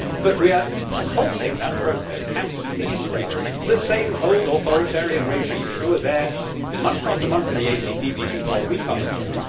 But we are halting that process and keeping in place the same old authoritarian regimes, who are there, month after month, in the ACP meetings while we come and go.